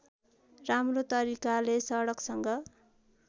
राम्रो तरिकाले सडकसँग